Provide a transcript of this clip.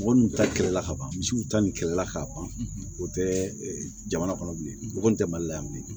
Mɔgɔ ninnu ta kɛlɛ la ka ban misiw ta ni kɛlɛla ka ban o tɛ jamana kɔnɔ bilen o kɔni tɛ mali la yan bilen